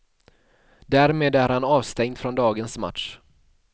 Därmed är han avstängd från dagens match.